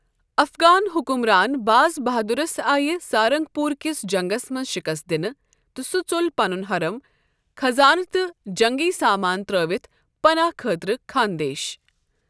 افغان حکمران باز بہادرس آیہٕ سارنگپور کِس جنگس منٛز شکست دِنہٕ تہٕ سُہ ژول پنُن حرم، خزانہٕ تہٕ جنگی سامان ترٲوِتھ پناہ خٲطرٕ خاندیش۔